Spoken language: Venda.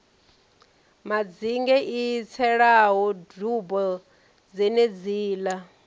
madzinge i tselaho dubo dzenedziḽa